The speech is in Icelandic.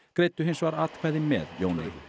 greiddu hins vegar atkvæði með Jóni